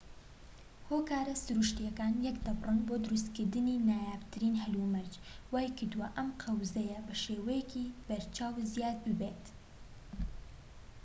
هۆکارە سروشتیەکان یەکدەبڕن بۆ دروستکردنی نایابترین هەلومەرج وای کردوە ئەم قەوزەیە بەشێوەیەکی بەرچاو زیاد ببێت